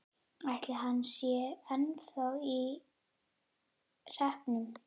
Ætli hann sé ennþá á hreppnum?